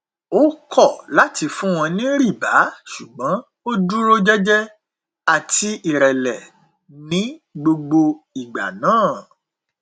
ó kọ láti fún wọn ní rìbá ṣùgbọn ó dúró jẹjẹ àti ìrẹlẹ ní gbogbo ìgbà náà